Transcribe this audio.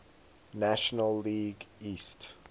national league east